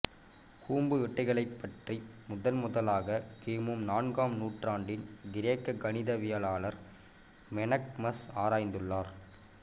கூம்பு வெட்டுகளைப் பற்றி முதன்முதலாக கிமு நான்காம் நூற்றாண்டின் கிரேக்க கணிதவியலாளர் மெனக்மஸ் ஆராய்ந்துள்ளார்